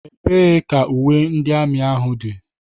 Ebee ka uwe ndị amị ahụ dị?